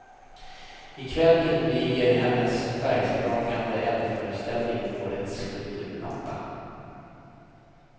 I kväll inviger hennes färgsprakande eldföreställning årets kulturnatta.